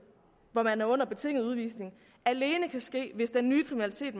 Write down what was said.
hvor man er under betinget udvisning alene kan ske hvis den nye kriminalitet